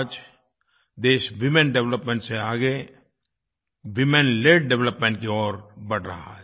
आज देश women development से आगे वुमेनल्ड डेवलपमेंट की ओर बढ़ रहा है